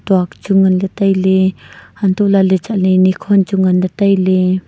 duak chu ngan le tai ley hantoh lah ley chatley nikhon chu ngan ley tai ley.